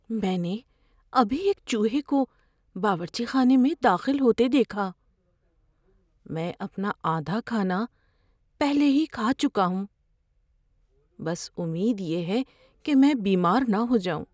میں نے ابھی ایک چوہے کو باورچی خانے میں داخل ہوتے دیکھا۔ میں اپنا آدھا کھانا پہلے ہی کھا چکا ہوں۔ بس امید یہ ہے کہ میں بیمار نہ ہو جاؤں۔